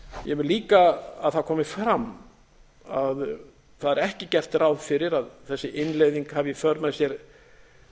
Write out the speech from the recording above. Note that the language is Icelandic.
ég vil líka að það komi fram að það er ekki gert ráð fyrir að þessi innleiðing hafi í för með sér